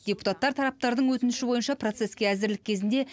депутаттар тараптардың өтініші бойынша процеске әзірлік кезінде